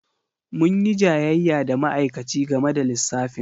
Mun yi jayayya da ma'aikaci game da lissafin.